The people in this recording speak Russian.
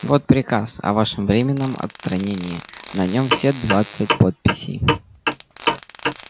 вот приказ о вашем временном отстранении на нём все двадцать подписей